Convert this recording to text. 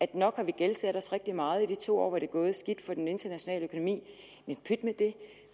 at nok har vi gældsat os rigtig meget i de to år hvor det er gået skidt for den internationale økonomi men pyt med det